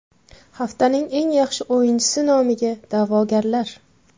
Haftaning eng yaxshi o‘yinchisi nomiga da’vogarlar: !